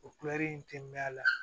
O in tɛ mɛn a la